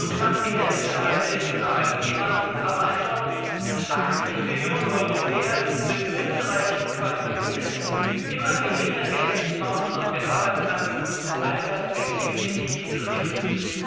Nur knapp die Hälfte aller älteren Arbeitnehmer hat einen Job. 80 Millionen Europäer sind unzureichend qualifiziert, mit immer geringer werdenden Chancen auf den Arbeitsmärkten eine Perspektive, die nicht hinzunehmen ist!